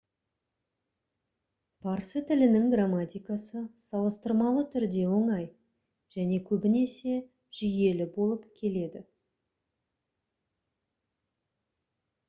парсы тілінің грамматикасы салыстырмалы түрде оңай және көбінесе жүйелі болып келеді